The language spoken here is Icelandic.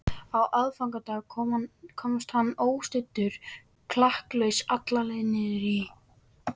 Á aðfangadag komst hann óstuddur klakklaust alla leið niður í